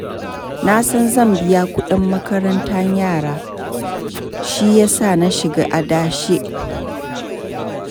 Na san zan biya kudin makarantar yara, shi ya sa na shiga adashi.